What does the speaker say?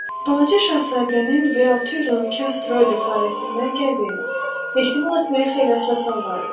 Balaca Şahzadənin V612 asteroidi planetindən gəldiyini ehtimal etməyə xeyli əsasım vardı.